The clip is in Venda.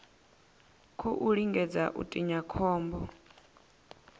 khou lingedza u tinya khombo